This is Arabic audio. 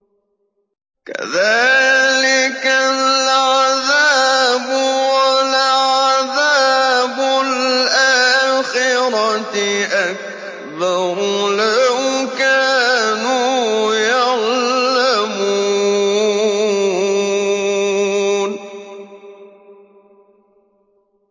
كَذَٰلِكَ الْعَذَابُ ۖ وَلَعَذَابُ الْآخِرَةِ أَكْبَرُ ۚ لَوْ كَانُوا يَعْلَمُونَ